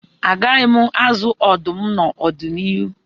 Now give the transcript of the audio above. Agaghị m azụ ọdụm n'ọdịnihu